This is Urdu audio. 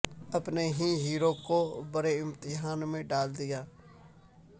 اپنے ہی ہیرو کو بڑے امتحان میں ڈال دیا